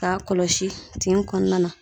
K'a kɔlɔsi tin kɔnɔna na.